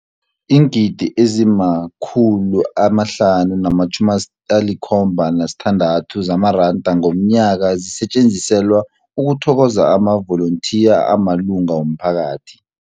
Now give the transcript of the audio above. Iingidi ezima-576 zamaranda ngomnyaka zisetjenziselwa ukuthokoza amavolontiya amalunga womphakathi.